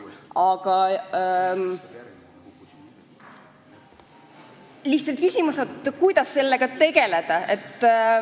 Aga on lihtsalt küsimus, kuidas sellega tegeleda.